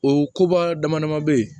O koba dama dama bɛ yen